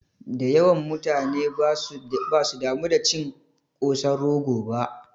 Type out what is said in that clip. Dayawan mutane basu damu da cin kosan rogo ba